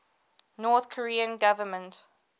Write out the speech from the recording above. north korean government